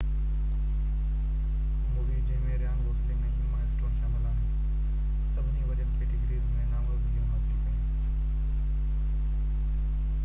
movie جنهن ۾ Ryan Gosling ۽ Emma Stone شامل آهن سڀني وڏين ڪيٽيگريز ۾ نامزدگيون حاصل ڪيون